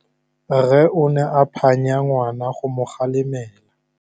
Rre o ne a phanya ngwana go mo galemela.